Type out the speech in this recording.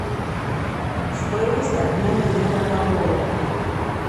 стоимость обмена евро на доллары